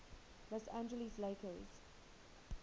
los angeles lakers